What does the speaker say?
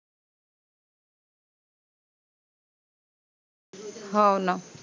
हाओ न